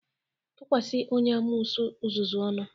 Tukwasi onye amoosu uzuzu ọnu!